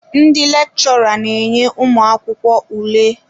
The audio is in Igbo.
Ndị lechora na enye ụmụakwụkwọ ule.